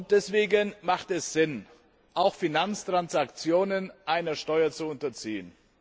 Deswegen macht es Sinn, auch Finanztransaktionen einer Steuer zu unterziehen.